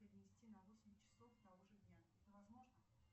перенести на восемь часов того же дня это возможно